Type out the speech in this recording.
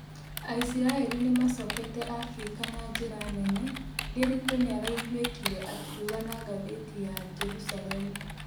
Aisiraeli nimacokete Afrika na njĩra nene, Ndiritu nĩaraĩgwĩkĩre akiũga na ngathetĩ ya Jerusalemu